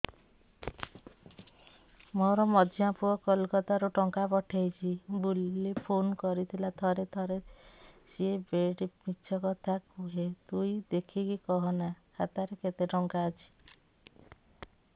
ମୋର ମଝିଆ ପୁଅ କୋଲକତା ରୁ ଟଙ୍କା ପଠେଇଚି ବୁଲି ଫୁନ କରିଥିଲା ଥରେ ଥରେ ସିଏ ବେଡେ ମିଛ କଥା କୁହେ ତୁଇ ଦେଖିକି କହନା ଖାତାରେ କେତ ଟଙ୍କା ଅଛି